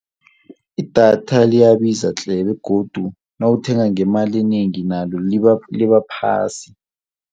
Idatha liyabiza tle. begodu nawuthenga ngemali enengi nalo liba phasi.